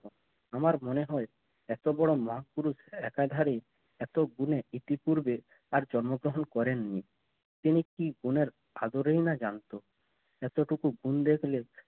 আমার মনে হয় এত বড় মহাপুরুষ একাধারে এত গুনে ইতিপূর্বে আর জন্মগ্রহণ করেননি তিনি কি গুণের আদরেই না জানতো এতোটুকু ভুল দেখলে